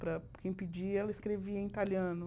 Para quem pedia, ela escrevia em italiano.